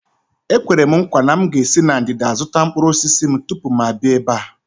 Ekwere m nkwa na m ga-esi na ndịda zụta mkpụrụ osisi m tupu m abịa ebe a.